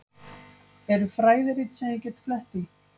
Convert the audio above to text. Eru fræðirit sem ég get flett í?